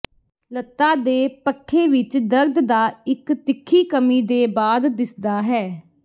ਲਤ੍ਤਾ ਦੇ ਪੱਠੇ ਵਿੱਚ ਦਰਦ ਦਾ ਇੱਕ ਤਿੱਖੀ ਕਮੀ ਦੇ ਬਾਅਦ ਦਿਸਦਾ ਹੈ